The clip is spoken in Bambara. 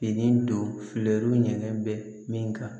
Fini don fɛrɛw ɲɛnɛ bɛ min kan